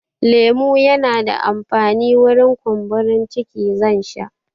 Lemo yana da amfani wurin kumburin ciki, zan sha